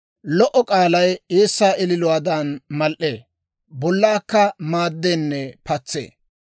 Lo"o k'aalay eessaa ililuwaadan mal"ee; bollaakka maaddeenne patsee.